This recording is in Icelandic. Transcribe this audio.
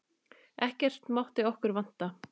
Ekkert mátti okkur vanta.